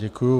Děkuji.